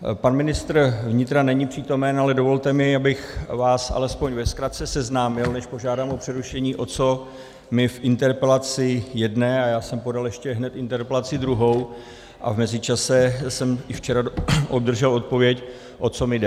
Pan ministr vnitra není přítomen, ale dovolte mi, abych vás alespoň ve zkratce seznámil, než požádám o přerušení, o co mi v interpelaci jedné, a já jsem podal ještě hned interpelaci druhou a v mezičase jsem i včera obdržel odpověď, o co mi jde.